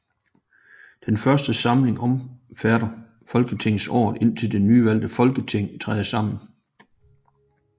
Den først samling omfatter folketingsåret indtil det nyvalgte Folketing træder sammen